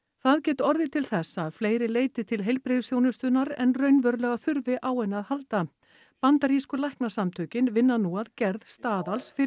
það geti orðið til þess að fleiri leiti til heilbrigðisþjónustunnar en raunverulega þurfi á henni að halda bandarísku læknasamtökin vinna nú að gerð staðals fyrir